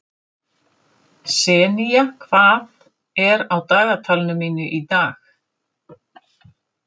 Senía, hvað er á dagatalinu mínu í dag?